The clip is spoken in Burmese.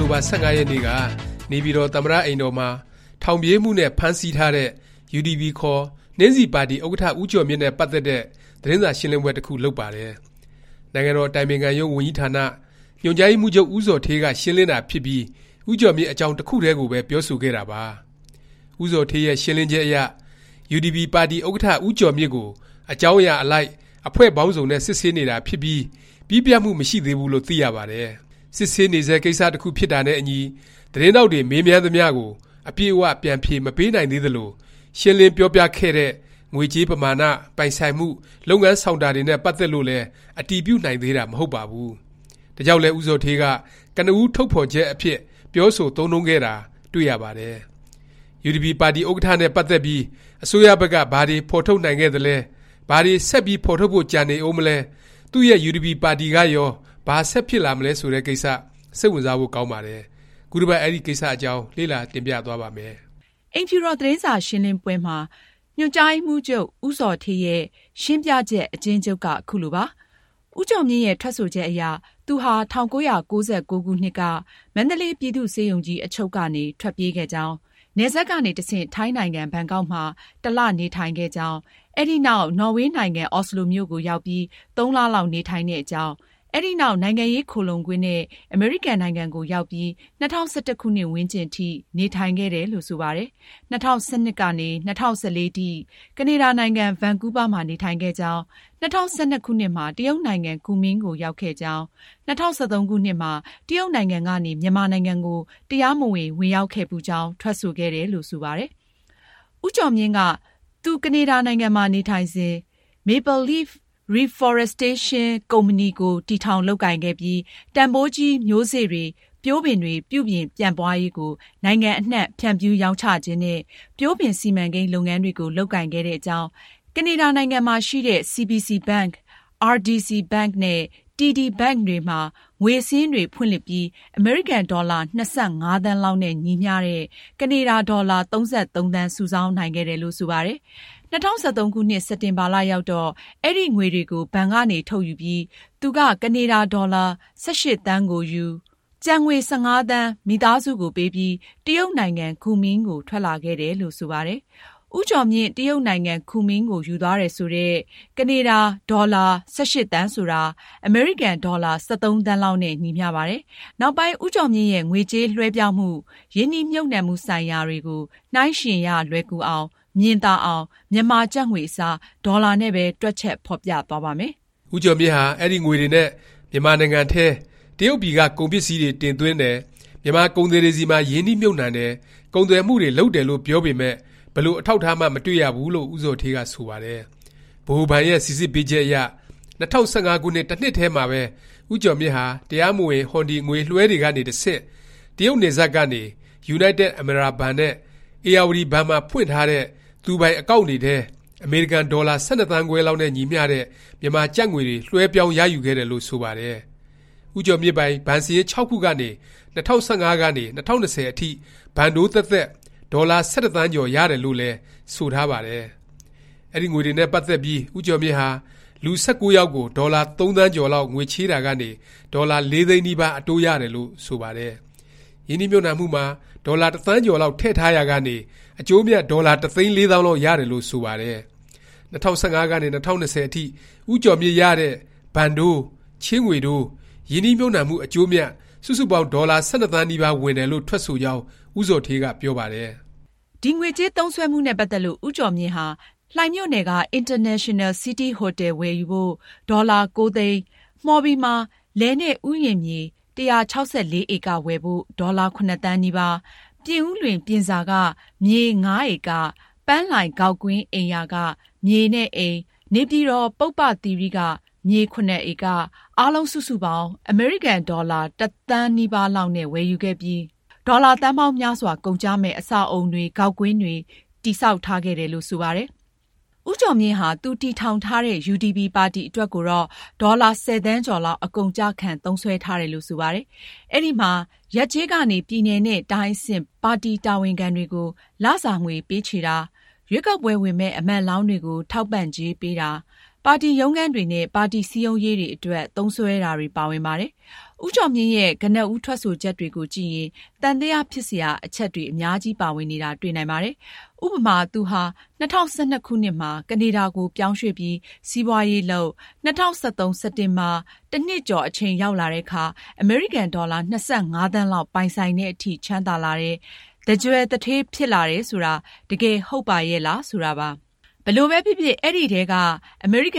တိုဘာ ၁၅ ရက်နေ့က နေပြည်တော် သမ္မတ အိမ်တော်မှာ ထောင်ပြေးမှုနဲ့ ဖမ်းဆီးထားတဲ့ UDP ခေါ် နှင်းဆီပါတီ ဥက္ကဌ ဦးကျော်မြင့်နဲ့ ပတ်သက်တဲ့ သတင်းစာရှင်းလင်းပွဲ တစ်ခု လုပ်ပါတယ်။ နိုင်ငံတော် အတိုင်ပင်ခံရုံး ဝန်ကြီးဌာန ညွှန်ကြားရေးမှူးချုပ် ဦးဇော်ဌေးက ရှင်းလင်းတာ ဖြစ်ပြီး ဦးကျော်မြင့် အကြောင်း တစ်ခုတည်းကိုပဲ ပြောဆိုခဲ့တာပါ။ ဦးဇော်ဌေးရဲ့ ရှင်းလင်းချက်အရ UDP ပါတီဥက္ကဌ ဦးကျော်မြင့်ကို အကြောင်းအရာ အလိုက် အဖွဲ့ပေါင်းစုံနဲ့ စစ်ဆေးနေတာ ဖြစ်ပြီး၊ ပြီးပြတ်မှု မရှိသေးဘူးလို့ သိရပါတယ်။ စစ်ဆေးနေဆဲ ကိစ္စ တစ်ခု ဖြစ်တာနဲ့အညီ သတင်းထောက်တွေ မေးမြန်းသမျှကို အပြည့်အ၀ ပြန်ဖြေ မပေးနိုင်သေးသလို၊ ရှင်းလင်း ပြောပြခဲ့တဲ့ ငွေကြေးပမာဏ၊ ပိုင်ဆိုင်မှု၊ လုပ်ငန်းဆောင်တာ တွေနဲ့ ပတ်သက်လို့လည်း အတည်ပြုနိုင်သေးတာ မဟုတ်ပါဘူး။ ဒါကြောင့်လည်း ဦးဇော်ဌေးက ကနဦးထုတ်ဖော်ချက် အဖြစ် ပြောဆို သုံးနှုန်းခဲ့တာ ဖြစ်ပါတယ်။ UDP ပါတီဥက္ကဌ နဲ့ ပတ်သက်ပြီး အစိုးရဘက်က ဘာတွေ ဖော်ထုတ်နိုင်ခဲ့သလဲ၊ ဘာတွေ ဆက်ပြီး ဖော်ထုတ်ဖို့ ကျန်နေဦးမလဲ၊ သူ့ရဲ့ UDP ပါတီကရော ဘာ ဆက်ဖြစ်လာမလဲ ဆိုတဲ့ ကိစ္စ စိတ်ဝင်စားဖို့ ကောင်းပါတယ်။ ခုတစ်ပတ် အဲဒီ ကိစ္စအကြောင်း လေ့လာ တင်ပြသွားပါ့မယ်။ အိမ်တော် သတင်းစာရှင်းလင်းပွဲမှာ ညွှန်ကြားရေးမှူးချုပ် ဦးဇော်ဌေးရဲ့ ရှင်းပြချက် အကျဉ်းချုပ်က ခုလိုပါ။ ဦးကျော်မြင့်ရဲ့ ထွက်ဆိုချက်အရ သူဟာ ၁၉၉၉ ခုနှစ်က မန္တလေး ပြည်သူ့ဆေးရုံကြီး အချုပ်ကနေ ထွက်ပြေးခဲ့ကြောင်း၊ နယ်စပ်ကနေ တဆင့် ထိုင်းနိုင်ငံ ဘန်ကောက်မှာ တစ်လ နေထိုင်ခဲ့ကြောင်း၊ အဲဒီနောက် နော်ဝေနိုင်ငံ အော်စလိုမြို့ကို ရောက်ပြီး ၃ လလောက် နေထိုင်တဲ့အကြောင်း၊ အဲဒီနောက် နိုင်ငံရေး ခိုလှုံခွင့်နဲ့ အမေရိကန် နိုင်ငံကို ရောက်ပြီး ၂၀၁၁ ခုနှစ်ဝန်းကျင်အထိ နေထိုင်ခဲ့တယ်လို့ ဆိုပါတယ်။ ၂၀၁၂ ခုနှစ်ကနေ ၂၀၁၄ ခုနှစ် ကနေဒါနိုင်ငံ ဗန်ကူးဗားမှာ နေထိုင်ခဲ့ကြောင်း၊ ၂၀၁၂ ခုနှစ်မှာ တရုတ်နိုင်ငံ ကူမင်းကို ရောက်ခဲ့ကြောင်း၊ ၂၀၁၃ ခုနှစ်မှာ တရုတ်နိုင်ငံကနေ မြန်မာနိုင်ငံကို တရားမဝင် ဝင်ရောက်ခဲ့ဖူးကြောင်း ထွက်ဆိုတယ်လို့ ဆိုပါတယ်။ ဦးကျော်မြင့်က သူ ကနေဒါနိုင်ငံမှာ နေထိုင်စဉ် Maple leaf Reforestation Inc Co., Ltd. တည်ထောင်လုပ်ကိုင်ခဲ့ပြီး တန်ဘိုးကြီး မျိုးစေ့တွေ၊ ပျိုးပင်တွေ ပြုပြင် ပြန့်ပွားရေးကို နိုင်ငံအနှံ့ ဖြန့်ဖြူးရောင်းချခြင်းနဲ့ ပျိုးပင် စီမံကိန်း လုပ်ငန်းတွေ လုပ်ကိုင်ခဲ့တဲ့အကြောင်း၊ ကနေဒါနိုင်ငံရှိ CBC Bank, RDC Bank နဲ့ TD Bank တွေမှာ ငွေစာရင်းတွေ ဖွင့်လှစ်ပြီး အမေရိကန်ဒေါ်လာ ၂၅ သန်းလောက်နဲ့ ညီမျှတဲ့ ကနေဒါ ဒေါ်လာ ၃၃ သန်း စုဆောင်းနိုင်ခဲ့တယ်လို့ ဆိုပါတယ်။ ၂၀၁၃ စက်တင်ဘာ ရောက်တော့ အဲဒီငွေတွေကို ဘဏ်ကနေ ထုတ်ယူပြီး သူက ကနေဒါဒေါ်လာ ၁၈ သန်းကိုယူ၊ ကျန်ငွေ ၁၅ သန်း မိသားစုကိုပေးပြီး တရုတ်နိုင်ငံ ကူမင်းကို ထွက်လာခဲ့တယ်လို့ ဆိုပါတယ်။ ဦးကျော်မြင့် တရုတ်နိုင်ငံ ကူမင်းကို ယူသွားတယ် ဆိုတဲ့ ကနေဒါ ဒေါ်လာ ၁၈ သန်းဆိုတာ အမေရိကန် ဒေါ်လာ ၁၃ သန်းလောက်နဲ့ ညီမျှပါတယ်။ နောက်ပိုင်း ဦးကျော်မြင့်ရဲ့ ငွေကြေး လွဲှပြောင်းမှု၊ ရင်းနှီးမြှုပ်နှံမှုဆိုင်ရာတွေကို နှိုင်းယှဉ်ရ လွယ်ကူအောင်၊ မြင်သာအောင် မြန်မာ ကျပ်ငွေ အစား ဒေါ်လာနဲ့ပဲ တွက်ချက် ဖော်ပြသွားပါ့မယ်။ ဦးကျော်မြင့်ဟာ အဲဒီ ငွေတွေနဲ့ မြန်မာနိုင်ငံထဲ တရုတ်ပြည်က ကုန်ပစ္စည်းတွေ တင်သွင်းတယ်၊ မြန်မာ ကုန်သည်တွေဆီမှာ ရင်းနှီးမြှုပ်နှံတယ်၊ ကုန်သွယ်မှုတွေ လုပ်တယ်လို့ ပြောပေမယ့် ဘယ်လို အထောက်အထားမှ မတွေ့ရဘူးလို့ ဦးဇော်ဌေးက ဆိုပါတယ်။ ဗဟိုဘဏ်ရဲ့ စိစစ်ပေးချက်အရ ၂၀၁၅ ခုနှစ် တစ်နှစ်ထဲမှာပဲ ဦးကျော်မြင့်ဟာ တရားမဝင် ဟွန်ဒီ ငွေလွဲှတွေကနေ တဆင့် တရုတ်နယ်စပ်ကနေ ယူနိုက်တက် အမရာဘဏ်နဲ့ ဧရာဝတီ ဘဏ်မှာ ဖွင့်ထားတဲ့ သူပိုင် အကောင့်န် တွေထဲ အမေရိကန် ဒေါ်လာ ၁၂ သန်းခွဲလောက် နဲ့ ညီမျှတဲ့ မြန်မာကျပ်ငွေတွေ လွဲှပြောင်းရယူခဲ့တယ်လို့ ဆိုပါတယ်။ ဦးကျော်မြင့်ပိုင် ဘဏ်စာရင်း ၆ ခုကနေ ၂၀၁၅ ကနေ ၂၀၂၀ အထိ ဘဏ်တိုးသက်သက် ဒေါ်လာ ၁၁ သန်းကျော် ရတယ်လို့လည်း ဆိုထားပါတယ်။ အဲဒီငွေတွေနဲ့ ပတ်သက်ပြီး ဦးကျော်မြင့်ဟာ လူ- ၁၉ ယောက်ကို ဒေါ်လာ ၃ သန်းကျော်လောက် ငွေချေးတာကနေ ဒေါ်လာ ၄ သိန်းနီးပါး အတိုးရတယ်လို့ ဆိုပါတယ်။ ရင်းနှီးမြှုပ်နှံမှုမှာ ဒေါ်လာ ၁ သန်းကျော်လောက် ထည့်ထားရာကနေ အကျိုးအမြတ် ဒေါ်လာ ၁ သိန်း ၄ သောင်းလောက် ရတယ်လို့ ဆိုပါတယ်။ ၂၀၁၅ ကနေ ၂၀၂၀ အထိ ဦးကျော်မြင့်ရတဲ့ ဘဏ်တိုး၊ ချေးငွေတိုး၊ ရင်းနှီးမြှုပ်နှံမှု အကျိုးအမြတ် စုစုပေါင်း ဒေါ်လာ ၁၂ သန်းနီးပါး ဝင်တယ်လို့ ထွက်ဆိုကြောင်း ဦးဇော်ဌေးက ပြောပါတယ်။ ငွေကြေး သုံးစွဲမှုနဲ့ ပတ်သက်လို့ ဦးကျော်မြင့်ဟာ လှိုင်မြို့နယ်က အင်တာနေရှင်နယ် စီးတီးဟိုတယ် ဝယ်ယူဖို့ ဒေါ်လာ ၉ သိန်း၊ မှော်ဘီမှာ လယ်နဲ့ ဥယျာဉ်မြေ ၁၆၄ ဧက ဝယ်ဖို့ ဒေါ်လာ ၇ သန်းနီးပါး၊ ပြင်ဦးလွင် ပြင်စာက မြေ ၅ ဧက၊ ပန်းလှိုင် ဂေါက်ကွင်းအိမ်ယာက မြေနဲ့အိမ်၊ နေပြည်တော် ပုဗ္ဗသီရိက မြေ ၇ ဧက၊ အားလုံး စုစုပေါင်း အမေရိကန် ဒေါ်လာ ၁ သန်းနီးပါး လောက်နဲ့ ဝယ်ယူခဲ့ပြီး ဒေါ်လာ သန်းပေါင်းများစွာ ကုန်ကျမယ့် အဆောက်အဦတွေ ဂေါက်ကွင်းတွေ တည်ဆောက်ထားခဲ့တယ်လို့ ဆိုပါတယ်။ ဦးကျော်မြင့်ဟာ သူတည်ထောင်ထားတဲ့ UDP ပါတီ အတွက်ကိုတော့ ဒေါ်လာ ၁၀ သန်းကျော်လောက် အကုန်အကျခံ သုံးစွဲထားတယ်လို့ ဆိုပါတယ်။ အဲဒီမှာ ရပ်ကျေး ကနေ ပြည်နယ်နဲ့ တိုင်းအဆင့် ပါတီ တာဝန်ခံတွေကို လစာငွေ ပေးချေတာ၊ ရွေးကောက်ပွဲဝင်မယ့် အမတ်လောင်းတွေကို ထောက်ပံ့ကြေးပေးတာ၊ ပါတီ ရုံးခန်းတွေနဲ့ ပါတီ စည်းရုံးရေးတွေ အတွက် သုံးစွဲတာတွေ ပါဝင်ပါတယ်။ ဦးကျော်မြင့်ရဲ့ ကနဦး ထွက်ဆိုချက်တွေကိုကြည့်ရင် သံသယ ဖြစ်စရာ အချက် အများကြီး ပါဝင်နေတာ တွေ့နိုင်ပါတယ်။ ဥပမာ- သူဟာ ၂၀၁၂ မှာ ကနေဒါကို ပြောင်းရွှေ့ပြီး စီးပွားရေးလုပ်၊ ၂၀၁၃ စက်တင်ဘာ ၁ နှစ်ကျော် အချိန်ရောက်လာတဲ့အခါ အမေရိကန်ဒေါ်လာ ၂၅ သန်းလောက် ပိုင်ဆိုင်သည် အထိ ချမ်းသာလာတယ်၊ သန်းကြွယ် သူဌေးဖြစ်လာတယ် ဆိုတာ တကယ် ဟုတ်ပါရဲ့လား ဆိုတာပါ။ ဘယ်လိုပဲဖြစ်ဖြစ် အဲဒီထဲက က